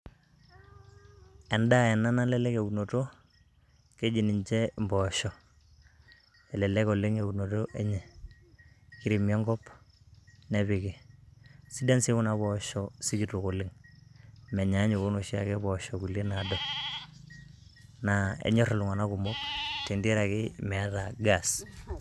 Endaa ena nalelek eunoto, keji ninche impoosho. Kelelek oleng' eunoto enye. Kiremi enkop, nepiki. Sidan si kuna poosho sikitok oleng'. Menyaanyuk onoshiake poosho kulie nado. Naa enyor iltung'anak kumok, tenteraki meeta gas.